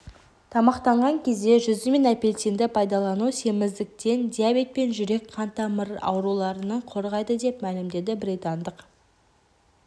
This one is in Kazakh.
тамақтанған кезде жүзім мен апельсинді пайдалану семіздіктен диабет пен жүрек-қан тамыр ауруларынан қорғайды деп мәлімдеді британдық